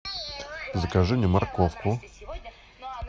закажи мне морковку